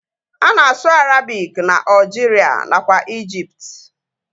Ana asụ Arabik na Aljiria nakwa ijipt